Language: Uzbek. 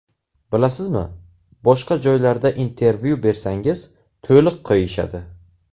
Bilasizmi, boshqa joylarda intervyu bersangiz to‘liq qo‘yishadi.